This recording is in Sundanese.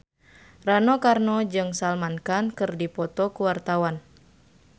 Rano Karno jeung Salman Khan keur dipoto ku wartawan